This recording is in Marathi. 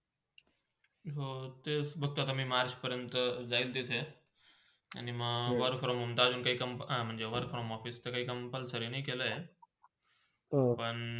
हो, तेच म तर म march पऱ्यंत जयल तिथे आणि म Work from home चालू काय company म्हणजे work from home office चा काही compulsory नाय केला आहे. पण